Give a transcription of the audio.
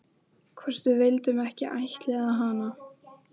Nú ríkti sannkallað styrjaldarástand í betri stofu þeirra sæmdarhjóna